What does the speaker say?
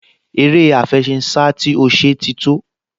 Eré àfẹṣinsá tí ó ṣe ti tó